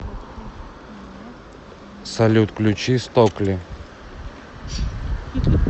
салют включи стокли